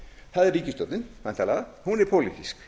það er ríkisstjórnin væntanlega hún er pólitísk